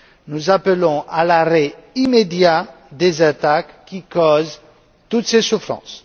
Nous appelons à l'arrêt immédiat des attaques qui causent toutes ces souffrances.